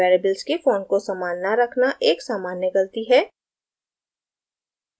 variables के font को समान न रखना एक सामान्य गलती है